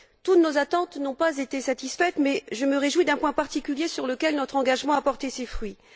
Toutes nos attentes n'ont pas été satisfaites, mais je me réjouis d'un point particulier sur lequel notre engagement a porté ses fruits.